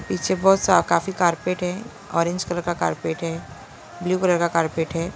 पीछे बहुत सा काफी कारपेट है ऑरेंज कलर का कार्पेट है ब्लू कलर का कार्पेट है।